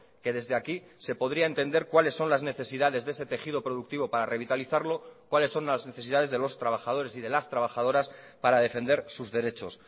que desde aquí se podría entender cuáles son las necesidades de ese tejido productivo para revitalizarlo cuáles son las necesidades de los trabajadores y de las trabajadoras para defender sus derechos